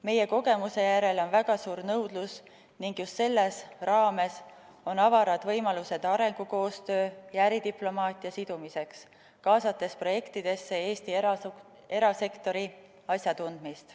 Meie kogemuse järele on väga suur nõudlus ning just selles teemas on avarad võimalused arengukoostöö ja äridiplomaatia sidumiseks, kaasates projektidesse Eesti erasektori asjatundmist.